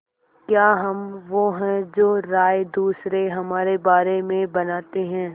क्या हम वो हैं जो राय दूसरे हमारे बारे में बनाते हैं